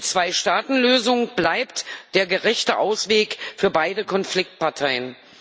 Die Zweistaatenlösung bleibt der gerechte Ausweg für beide Konfliktparteien.